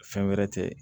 Fɛn wɛrɛ tɛ